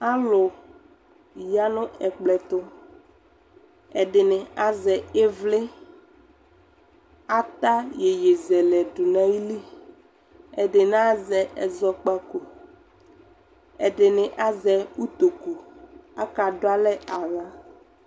alu ya no ɛkplɔ ɛtu ɛdene azɛ evli atayeyezɛlɛ dona ayili edene azɛ ezɔkpaku edene azɛ utuku akado alɛ awo